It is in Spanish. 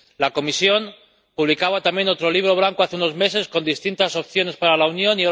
La Comisión publicaba también otro Libro Blanco, hace unos meses, con distintas opciones para la Unión.